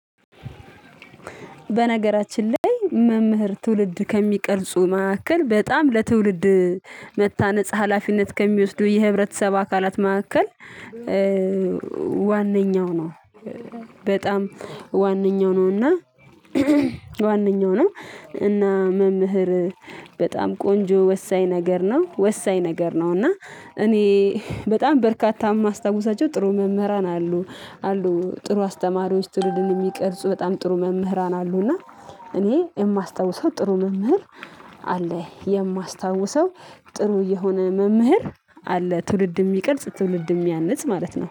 በነገራችን ላይ መምህር ትውልድ ከሚቀርጹ መካከል በጣም ለትውልድ መታነጽ ሀላፊነት ከሚወስዱ የህብረተሰብ አካላት መካከል። ዋነኛው ነው። በጣም ዋነኛው ነው እና ዋነኛው ነው። እና መምህር በጣም ቆንጆ ወሳኝ ነገር ነው ወሳኝ ነገር ነው። እና እኔ በጣም በርካታ የማስታውሳቸው ጥሩ መምህራን አሉ አሉ ጥሩ አስተማሪዎች ትውልድን የሚቀርጹ በጣም ጥሩ መምህራን አሉ። እና እኔ የማስታውሰው ጥሩ መምህር አለ። የማስታውሰው ጥሩ የሆነ መምህር አለ። ትውልድ የሚቀርጽ ትውልድ የሚያንጽ ማለት ነው